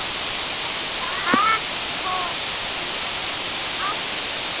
Hektor getur átt við